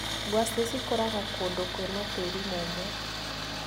Ngwaci cikũraga kũndũ kwĩna tĩrĩ mũumu.